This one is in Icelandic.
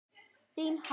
Þín, Halla.